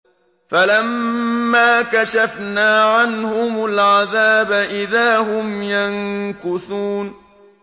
فَلَمَّا كَشَفْنَا عَنْهُمُ الْعَذَابَ إِذَا هُمْ يَنكُثُونَ